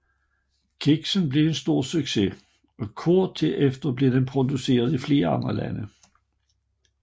Kiksen blev en stor succes og kort tid efter blev den produceret i flere andre lande